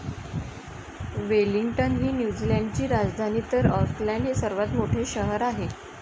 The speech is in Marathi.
वेलिंग्टन ही न्युझीलंड ची राजधानी तर आॅकलॅंड हे सर्वात मोठे शहर आहे.